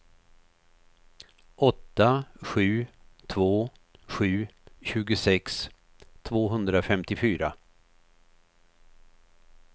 åtta sju två sju tjugosex tvåhundrafemtiofyra